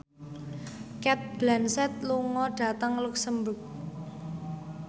Cate Blanchett lunga dhateng luxemburg